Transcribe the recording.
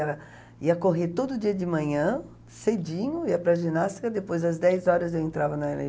era, ia correr todo dia de manhã, cedinho, ia para a ginástica, depois às dez horas eu entrava na